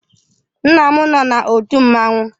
Nna m nọ n'òtù mmanwụ.